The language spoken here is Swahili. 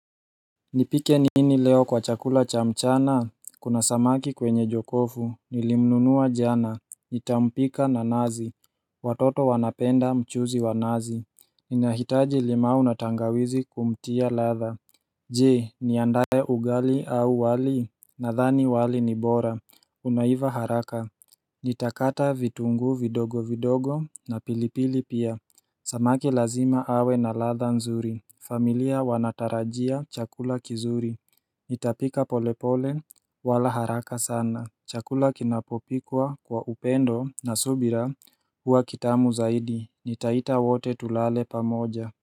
Nipike nini leo kwa chakula cha mchana, kuna samaki kwenye jokofu, nilimnunua jana, nitampika na nazi, watoto wanapenda mchuzi wa nazi Ninahitaji limau na tangawizi kumtia ladha Je, niandae ugali au wali, nadhani wali ni bora, unaiva haraka Nitakata vitunguu vidogo vidogo na pilipili pia, samaki lazima awe na ladha nzuri familia wanatarajia chakula kizuri, nitapika polepole wala haraka sana Chakula kinapopikwa kwa upendo na subira huwa kitamu zaidi, nitaita wote tulale pamoja.